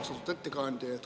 Austatud ettekandja!